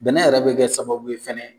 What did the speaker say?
Bɛnɛ yɛrɛ bɛ kɛ sababu ye fana